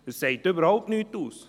Das sagt überhaupt nichts aus.